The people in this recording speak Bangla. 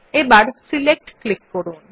এবার সিলেক্ট ক্লিক করুন